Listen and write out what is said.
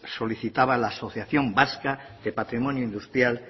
solicitaba la asociación vasca de patrimonio industrial